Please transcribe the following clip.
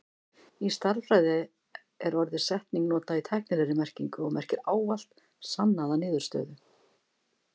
Í stærðfræði er orðið setning notað í tæknilegri merkingu og merkir ávallt sannaða niðurstöðu.